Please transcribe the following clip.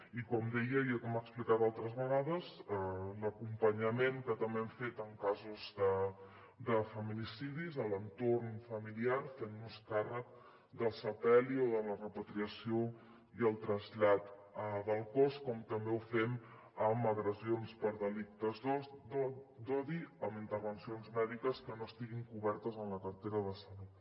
i com deia i ja hem explicat altres vegades l’acompanyament que també hem fet en casos de feminicidis a l’entorn familiar fent nos càrrec del sepeli o de la repatriació i el trasllat del cos com també ho fem amb agressions per delictes d’odi amb intervencions mèdiques que no estiguin cobertes en la cartera de salut